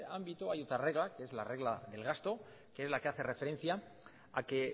ámbito hay otra regla que es la regla del gasto que es la que hace referencia a que